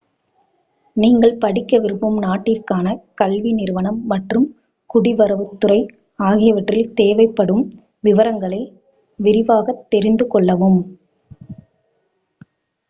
நீங்கள் படிக்க விரும்பும் நாட்டிற்கான கல்வி நிறுவனம் மற்றும் குடிவரவுத் துறை ஆகியவற்றில் தேவைப்படும் விவரங்களை விரிவாகத் தெரிந்து கொள்ளவும்